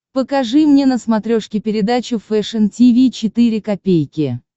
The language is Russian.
покажи мне на смотрешке передачу фэшн ти ви четыре ка